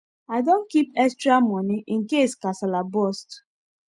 i don keep extramoney incase kasala burst